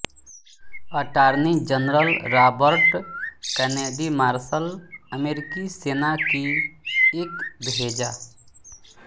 attorney general Robert Kennedy marshal अमेरिकी सेना की एक भेजा